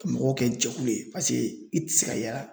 Ka mɔgɔw kɛ jɛkulu ye i tɛ se ka yaala